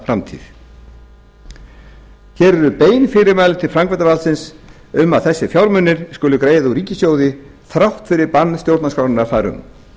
framtíð hér eru bein fyrirmæli til framkvæmdarvaldsins um að þessa fjármuni skuli greiða úr ríkissjóði þrátt fyrir bann stjórnarskrárinnar þar um